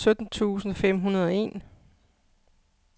sytten tusind fem hundrede og en